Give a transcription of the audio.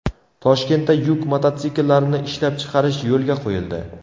Toshkentda yuk mototsikllarini ishlab chiqarish yo‘lga qo‘yildi.